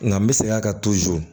Nka n bɛ segin a kan